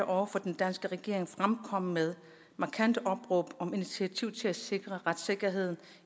over for den danske regering fremkommet med markante opråb om initiativer til at sikre retssikkerheden